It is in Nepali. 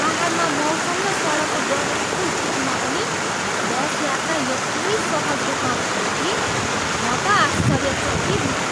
पाहाडमा मौसम र सडकको डरलाग्दो स्थितिमा पनि बस यात्रा यति सहज रूपमा भयो कि, म त आश्चर्यचकित भएँ!